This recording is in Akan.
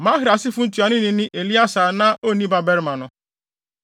Mahli asefo ntuanoni ne Eleasar a na onni mmabarima no.